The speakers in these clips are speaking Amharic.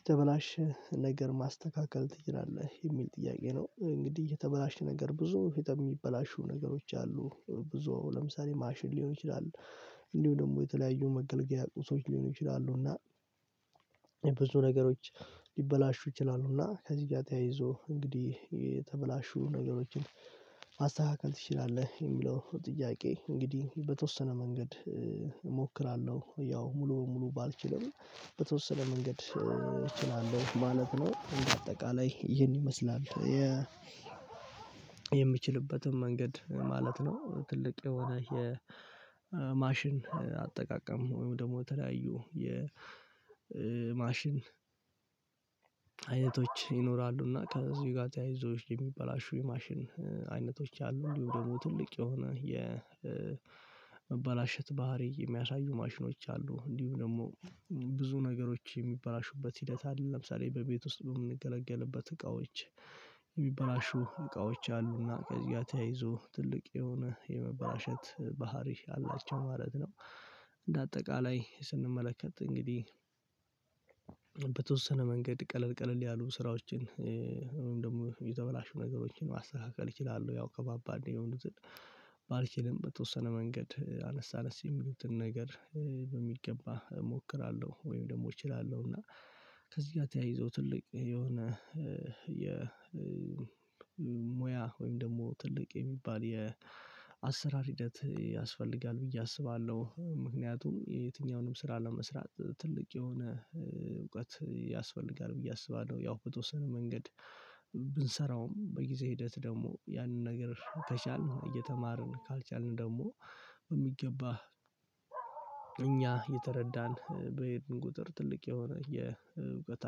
የተበላሸ ነገር ማስተካከል ትችላለህ የሚል ጥያቄ ነው እንግዲህ የተበላሸ ነገር ብዙ ፊት የሚበላሹ ነገሮች አሉ ብዙ ለምሳሌ ማሽን ሊሆን ይችላል እንዲሁ ደግሞ የተለያዩ መገልገያ ቁሶች ሊሆኑ ይችላሉና። ብዙ ነገሮች ሊበላሹ ይችላሉና ከዚህ ጋር ተያይዞ እንግዲህ የተበላሹ ነገሮችን ማስተካከል ትችላለህ የሚለው ጥያቄ እንግዲህ በተወሰነ መንገድ እሞክራለሁ ያው ሙሉ ሙሉ ባልችልም በተወሰነ መንገድ እችላለሁ ማለት ነው። በአጠቃላይ ይህን ይመስላል። የምችልበትም መንገድ ማለት ነው። ትልቅ የሆነ የ የማሽን አጠቃቀም ወይም ደግሞ በተለያዩ የ የማሽን አይነቶች ይኖራሉ። እና ከዚህ ጋር ተያይዞች የሚበላሹ የማሽን አይነቶች አሉ እንዲሁም ደግሞ ትልቅ የሆነ የመበላሸት ባህሪ የሚያሳዩ ማሽኖች አሉ። እንዲሁም ደግሞ ብዙ ነገሮች የሚበላሹበት ሂደት አለ። ለምሳሌ በቤት ውስጥ በምንገለገልበት እቃዎች የሚበላሹ እቃዎች አሉና ከዚያ ተያይዞ ትልቅ የሆነ የመበላሸት ባህሪ አላቸው ማለት ነው። እንደ አጠቃላይ ስንመለከት እንግዲህ በተወሰነ መንገድ ቀለል ቀለል ያሉ ስራዎችን ወይም ደግሞ የተበላሹ ነገሮችን ማስተካከል እችላለሁ ያው ከባባድ የሆኑትን ባልችልም በተወሰነ መንገድ አነስ አነስ የሚሉትን ነገር በሚገባ እሞክራለሁ። ወይም ደግሞ እችላለሁ። እና ከዚህ ጋር ተያይዞ ትልቅ የሆነ የ ሙያ ወይም ደግሞ ትልቅ የሚባል የአሰራር ሂደት ያስፈልጋል ብዬ አስባለሁ። ምክንያቱም የትኛውንም ስራ ለመስራት ትልቅ የሆነ እውቀት ያስፈልጋል ብዬ አስባለሁ። ያው በተወሰነ መንገድ ብንሰራውም በጊዜ ሂደት ደግሞ ያንን ነገር ከቻልን እየተማርን ካልቻልን ደግሞ በሚገባ እኛ የተረዳን በሄድን ቁጥር ትልቅ የሆነ የእውቀት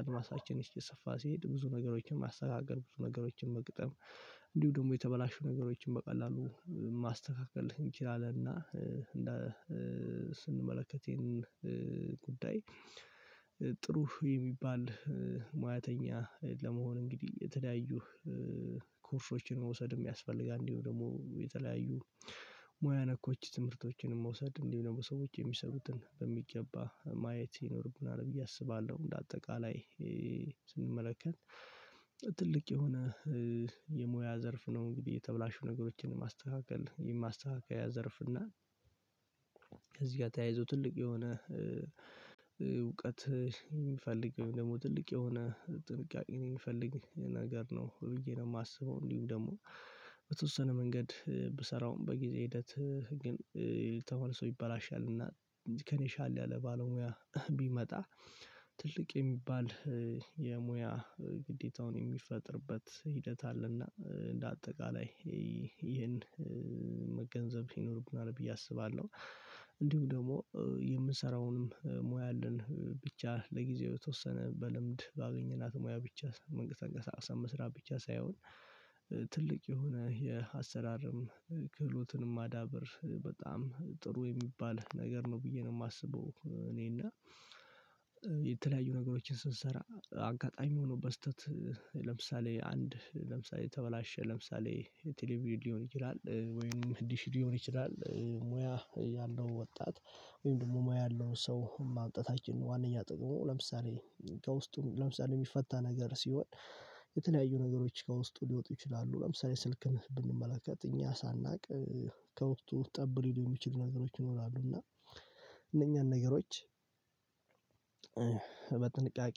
አድማሳችን እስኪ ሰፋ ሲሄድ ብዙ ነገሮችን ማስተካከል ብዙ ነገሮችን መግጠም እንዲሁ ደግሞ የተበላሹ ነገሮችን በቀላሉ ማስተካከል እንችላለን። እና ስንመለከተን ይሄንን ጉዳይ ጥሩ የሚባል ሙያተኛ ለመሆን እንግዲህ የተለያዩ ኮርሶችን መውሰድ የሚያስፈልጋል እንዲሁ ደግሞ የተለያዩ ሙያ ነኮች ትምህርቶችን መውሰድ እንዲሁም በሰዎች የሚሰሩትን በሚገባ ማየት ይኖርብናል ብዬ አስባለሁ። እንደ በአጠቃላይ ስንመለከት ትልቅ የሆነ የሙያ ዘርፍ ነው። እንግዲህ የተብላሹ ነገሮችን ማስተካከል የማስተካከያ ዘርፍ እና እዚህ ጋር ተያይዞ ትልቅ የሆነ እውቀት የሚፈልግ ወይም ደግሞ ትልቅ የሆነ ጥንቃቄን የሚፈልግ ነገር ነው ብዬ ነው የማስበው። እንዲሁ ደግሞ በተወሰነ መንገድ ብሰራውም በጊዜ ሂደት ተማሪ ሰው ይበላሻልና ከኔ ሻል ያለ ባለሙያ ቢመጣ ትልቅ የሚባል የሙያ ግዴታውን የሚፈጥርበት ሂደት አለና እንደ አጠቃላይ ይሄን መገንዘብ ሲኖርብናል ብዬ አስባለሁ። እንዲሁ ደግሞ የምሰራውንም ሙያ አለን ብቻ ለጊዜው የተወሰነ በልምድ ባገኘናት ሙያ ብቻ መንቀሳቀስም መስራት ብቻ ሳይሆን ትልቅ የሆነ የአሰራርም ክህሎትንም ማዳበር ጥሩ የሚባል ነገር ነው ብዬ ነው የማስበው። እኔና የተለያዩ ነገሮችን ስንሰራ አንጋጣሚ ሆኖ በስህተት ለምሳሌ አንድ ለምሳሌ የተበላሸ ለምሳሌ የቴሌቪዥን ሊሆን ይችላል። ወይም ዲሽ ሊሆን ይችላል። ሙያ ያለው ወጣት ወይም ደግሞ ሙያ ያለው ሰው ማምጣታችን ዋናኛ ጥቅሙ ለምሳሌ ከውስጡ ለምሳሌ የሚፈታ ነገር ሲሆን የተለያዩ ነገሮች ከውስጡ ሊወጡ ይችላሉ። ለምሳሌ ስልክን ብንመለከት እኛ ሳናውቅ ከውስጡ ጠብ ሊሉ የሚችሉ ነገሮች ይኖራሉ እና እነኛን ነገሮች በጥንቃቄ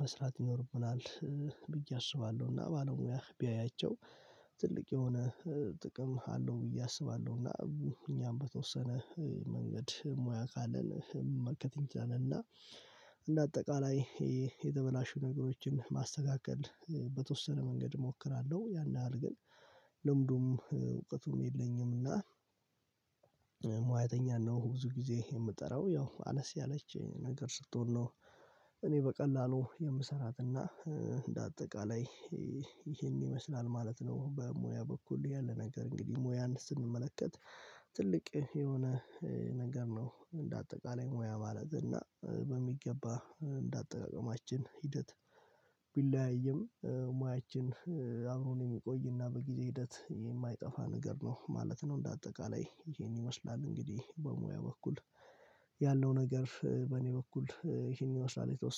መስራት ይኖርብናል። ብዬ አስባለሁ። እና ባለሙያ ቢያያቸው ትልቅ የሆነ ጥቅም አለው ብዬ አስባለሁ። እና እኛም በተወሰነ መንገድ ሙያ ካለን መመልከት እና እንደ አጠቃላይ የተበላሹ ነገሮችን ማስተካከል በተወሰነ መንገድ እሞክራለሁ። ያን ያህል ግን ልምዱም እውቀቱም የለኝም። እና ሙያተኛ ነው ብዙ ጊዜ የምጠራው ያው አነስ ያለች ነገር ስትሆን ነው። እኔ በቀላሉ የምሰራትና እንደ አጠቃላይ ይሄን ይመስላል ማለት ነው። በሙያ በኩል ያለ ነገር እንግዲህ ሙያን ስንመለከት ትልቅ የሆነ ነገር ነው። እንደ አጠቃላይ ሙያ ማለት እና በሚገባ እንደ አጠቃቀማችን ሂደት ቢለያይም ሙያችን አብሮን የሚቆይና በጊዜ ሂደት የማይጠፋ ነገር ነው ማለት ነው። እንደ አጠቃላይ ይሄን ይመስላል እንግዲህ በሙያ በኩል ያለው ነገር በእኔ በኩል ይሄን ይመስላል የተወሰነ